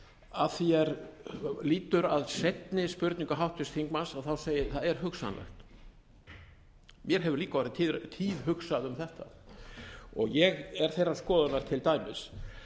að því er lýtur að seinni spurningu háttvirts þingmanns segi ég að það er hugsanlegt mér hefur líka orðið tíðhugsað um þetta ég er þeirrar skoðunar til dæmis